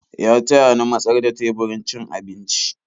Ya taya ni matsar da teburin cin abinci.